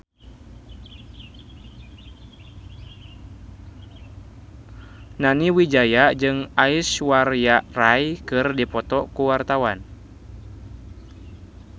Nani Wijaya jeung Aishwarya Rai keur dipoto ku wartawan